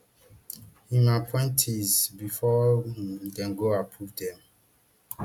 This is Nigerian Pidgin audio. im appointees bifor um dem go approve dem